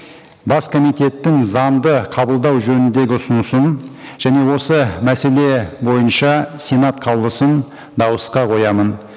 бас комитеттің заңды қабылдау жөніндегі ұсынысын және осы мәселе бойынша сенат қаулысын дауысқа қоямын